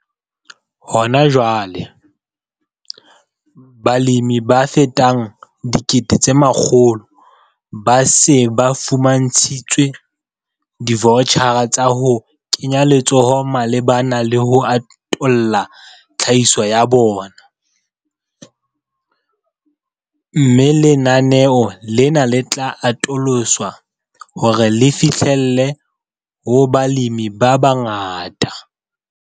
Hona jwale, balemi ba fetang 100 000 ba se ba fumantshitswe divoutjhara tsa ho kenya letsoho malebana le ho atolla tlhahiso ya bona, mme lenaneo lena le tla atoloswa hore le fihlelle ho balemi ba bangata.